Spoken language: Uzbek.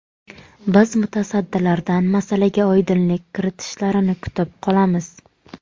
Biz mutasaddilardan masalaga oydinlik kiritishlarini kutib qolamiz.